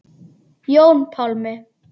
Jón Pálmi.